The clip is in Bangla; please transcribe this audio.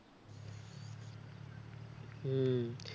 হম